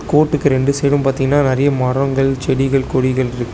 கோட்டுக்கு ரெண்டு சைடும் பாத்தீங்னா நெறைய மரங்கள் செடிகள் கொடிகள்ருக்--